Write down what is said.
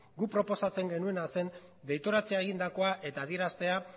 guk proposatzen genuena zen deitoratzea egindakoa eta adieraztea